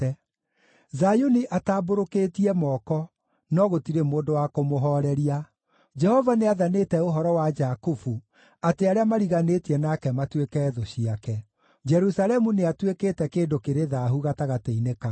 Zayuni atambũrũkĩtie moko, no gũtirĩ mũndũ wa kũmũhooreria. Jehova nĩathanĩte ũhoro wa Jakubu atĩ arĩa mariganĩtie nake matuĩke thũ ciake; Jerusalemu nĩatuĩkĩte kĩndũ kĩrĩ thaahu gatagatĩ-inĩ kao.